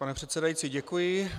Pane předsedající, děkuji.